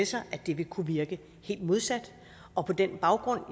sig at det vil kunne virke helt modsat og på den baggrund